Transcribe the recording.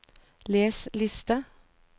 les liste